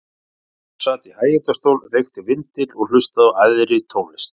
Afi hans sat í hægindastól, reykti vindil og hlustaði á æðri tónlist.